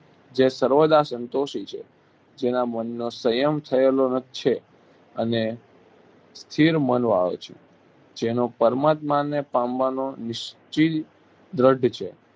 જે સર્વદા સંતોષી છે જેના મનનો સંયમ થયેલો ન છે અને સ્થિર મનવાળો છે જેનો પરમાત્માને પામવાનો નિશ્ચિય દ્રઢ છે